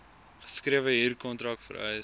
geskrewe huurkontrak vereis